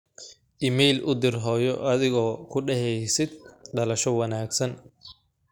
iimayl u dir hooyo adigoo ku daheysid dalasho wanagsan